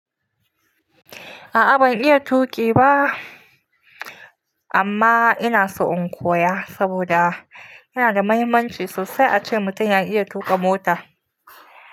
A'a ban iya tuƙi ba amma ina so in koya saboda yana da mahimmanci sosai ace mutum ya iya tuƙa mota.